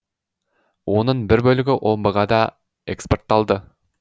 оның бір бөлігі омбыға да экспортталды